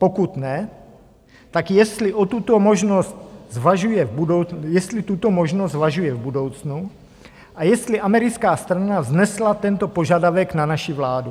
Pokud ne, tak jestli tuto možnost zvažuje v budoucnu a jestli americká strana vznesla tento požadavek na naši vládu.